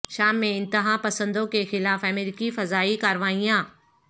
شام میں انتہا پسندوں کے خلاف امریکی فضائی کارروائیاں